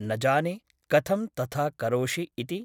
न जाने , कथं तथा करोषि इति ।